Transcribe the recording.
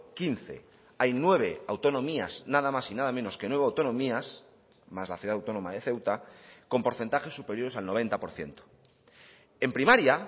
quince hay nueve autonomías nada más y nada menos que nueve autonomías más la ciudad autónoma de ceuta con porcentajes superiores al noventa por ciento en primaria